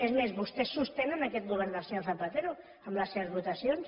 és més vostès sostenen aquest govern del senyor zapatero amb les seves votacions